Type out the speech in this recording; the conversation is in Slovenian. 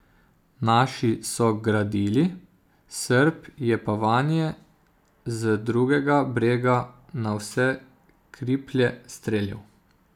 Naši so gradili, Srb je pa vanje z drugega brega na vse kriplje streljal.